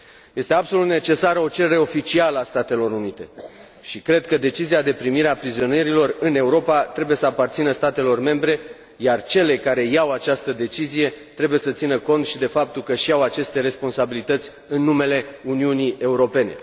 Este absolut necesară o cerere oficială a Statelor Unite și cred că decizia de primire a prizonierilor în Europa trebuie să aparțină statelor membre, iar cele care iau această decizie trebuie să țină cont și de faptul că și iau aceste responsabilități în numele Uniunii Europene.